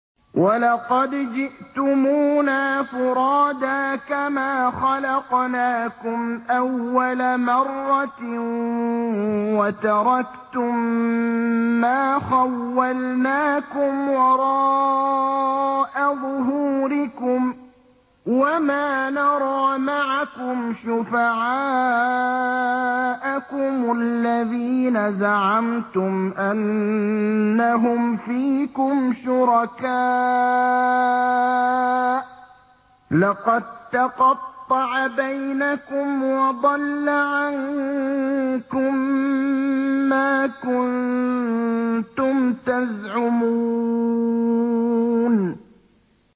وَلَقَدْ جِئْتُمُونَا فُرَادَىٰ كَمَا خَلَقْنَاكُمْ أَوَّلَ مَرَّةٍ وَتَرَكْتُم مَّا خَوَّلْنَاكُمْ وَرَاءَ ظُهُورِكُمْ ۖ وَمَا نَرَىٰ مَعَكُمْ شُفَعَاءَكُمُ الَّذِينَ زَعَمْتُمْ أَنَّهُمْ فِيكُمْ شُرَكَاءُ ۚ لَقَد تَّقَطَّعَ بَيْنَكُمْ وَضَلَّ عَنكُم مَّا كُنتُمْ تَزْعُمُونَ